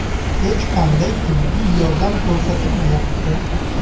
Hech qanday tibbiy yordam ko‘rsatilmayapti.